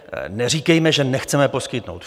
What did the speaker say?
Neříkejme, že nechceme poskytnout.